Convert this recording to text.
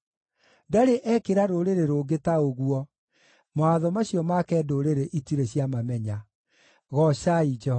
Ndarĩ ekĩra rũrĩrĩ rũngĩ ta ũguo, mawatho macio make ndũrĩrĩ itirĩ ciamamenya. Goocai Jehova.